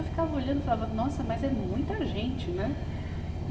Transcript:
Eu ficava olhando e falava, nossa, mas é muita gente, né? e